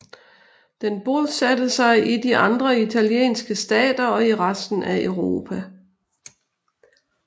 Den bosatte sig i de andre italienske stater og i resten af Europa